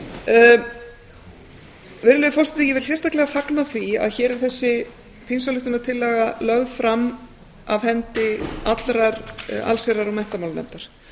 virðulegi forseti ég vil sérstaklega fagna því að að hér er þessi þingsályktunartillaga lögð fram af hendi allrar allsherjar og menntamálanefndar